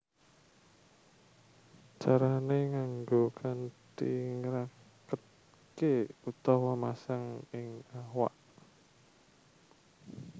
Carané nganggo kanthi ngraketké utawa masang ing awak